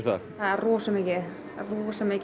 rosa mikið rosa mikið